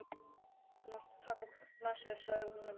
Þú mátt taka hvolpinn með þér, sagði hún við Emil.